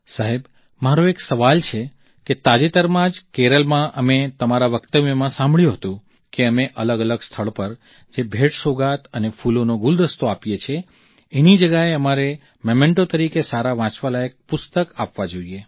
સાહેબ મારો એક સવાલ છે કે તાજેતરમાં જ કેરળમાં અમે તમારા વક્તવ્યમાં સાંભળ્યું હતું કે અમે અલગઅલગ સ્થળ પર જે ભેટસોગાદ અને ફૂલોનો ગુલદસ્તો આપીએ છીએ એની જગ્યાએ અમારે મેમેન્ટો તરીકે સારા વાંચવાલાયક પુસ્તક આપવા જોઈએ